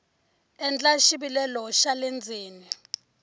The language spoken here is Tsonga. endla xivilelo xa le ndzeni